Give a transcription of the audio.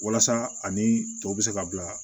Walasa ani tɔ bɛ se ka bila